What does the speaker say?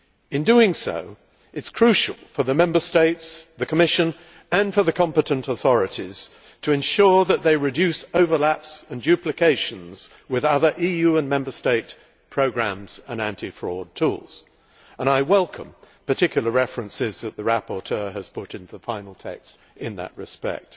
In doing so, it is crucial for the Member States, the Commission and the competent authorities to ensure that they reduce overlap and duplication with other EU and Member State programmes and anti fraud tools. I welcome the specific references that the rapporteur has put into the final text in that respect.